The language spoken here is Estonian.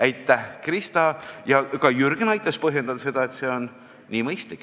Aitäh, Krista ja Jürgen, kes te aitasite põhjendada, et see on mõistlik!